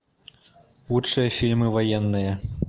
лучшие фильмы военные